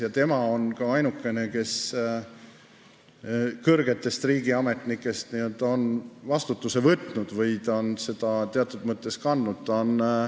Ja tema on ka ainukene, kes kõrgetest riigiametnikest on vastutuse võtnud või ta on seda teatud mõttes kandnud.